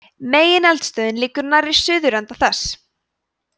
megineldstöðin liggur nærri suðurenda þess